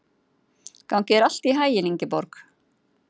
Gangi þér allt í haginn, Ingeborg.